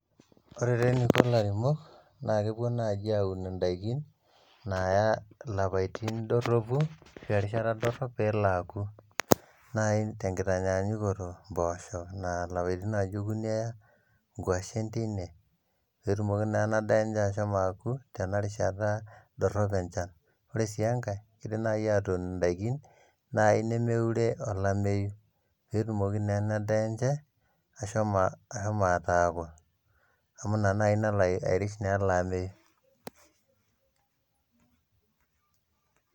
Ore tee eniko lairemok naa kepuo naaji aun in`daiki naya ilapaitin dorropu ashu erishata dorrop pelo aku nai tenkitanyanyukoto impoosho, naa lapaitin ake okuni eya ,nkwashen teine peetumoki naa ena daa enye meshomo aku tena rishata dorrop enchan . ore sii enkae indim naji aatun indaikin nai nemeure olameyu peetumoki naa ena daa enche ashomo ashomo ataaku amu ina nai nalo airish naa ele ameyu.